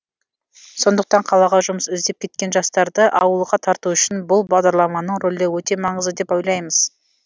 сондықтан қалаға жұмыс іздеп кеткен жастарды ауылға тарту үшін бұл бағдарламаның рөлі өте маңызды деп ойлаймыз